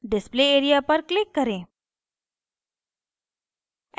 display area पर click करें